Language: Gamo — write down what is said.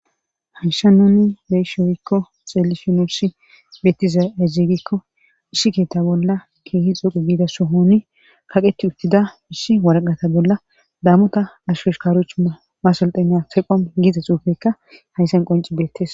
hanshanonni beyishiowikko xeelishonusi beettiza ezigikko isshi keeta bolla keehi xuqu giida sohoni kaqeti uttida issi waraqata bolla daamota asho shikarochu masultena seqon giiza xuufekka hayssan qonci beettes